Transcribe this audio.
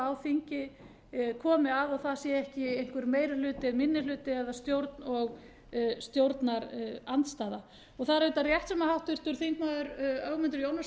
á þingi komi að og það sé ekki einhver meiri hluti eða minni hluti eða stjórn og stjórnarandstaða það er auðvitað rétt sem háttvirtur þingmaður ögmundur jónasson